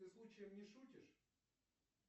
ты случаем не шутишь